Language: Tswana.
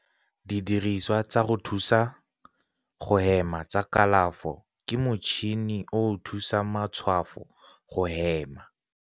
Didirisiwa tsa go thusa go hema tsa kalafo ke motšhini o o thusang matshwafo go hema.